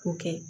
K'o kɛ